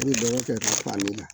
N'u ye dɔgɔ kɛ ka falen